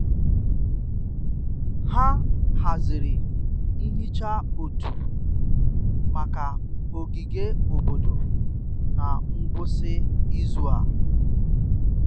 ha haziri nhicha òtù maka ogige obodo na ngwụsị izu a.